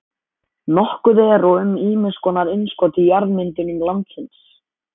Nokkuð er og um ýmiss konar innskot í jarðmyndunum landsins.